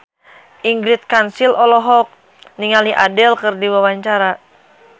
Ingrid Kansil olohok ningali Adele keur diwawancara